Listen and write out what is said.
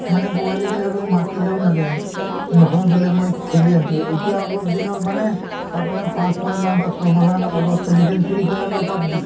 মানে পোৱালী বিলাকক মতিলেও নাযায় । নহয় বোলে মই খেলি আছোঁ এতিয়া অলপ দিনৰ মানে আপোনাৰ পাঁচ ছয় মাহ বা ছয় মাহৰ আগত চলিছিল free fire বা PUBG